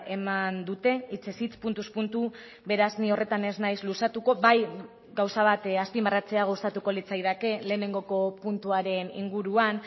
eman dute hitzez hitz puntuz puntu beraz ni horretan ez naiz luzatuko bai gauza bat azpimarratzea gustatuko litzaidake lehenengoko puntuaren inguruan